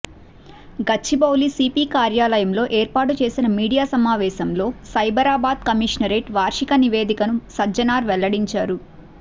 Gachibowli CP కార్యాలయంలో ఏర్పాటు చేసిన మీడియా సమావేశంలో సైబరాబాద్ కమిషనరేట్ వార్షిక నివేదికను సజ్జనార్ వెల్లడించారు